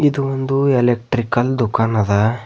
ಇದು ಒಂದು ಎಲೆಕ್ಟ್ರಿಕಲ್ ದುಖನ್ ಅದ.